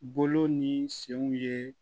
Bolo ni senw ye